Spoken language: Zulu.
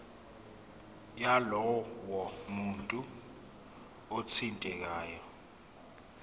yalowo muntu othintekayo